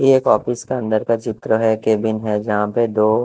ये एक ऑफिस के अंदर का चित्र है केबिन है यहां पे दो--